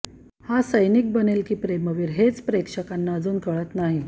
हा सैनिक बनेल की प्रेमवीर हेच प्रेक्षकांना अजून कळत नाही